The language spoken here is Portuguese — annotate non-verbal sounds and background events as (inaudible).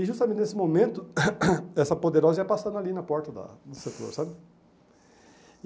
E justamente nesse momento, (coughs) essa poderosa ia passando ali na porta da do setor, sabe?